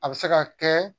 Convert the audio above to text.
A bɛ se ka kɛ